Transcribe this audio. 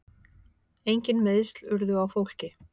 Engin meiðsl urðu á fólki.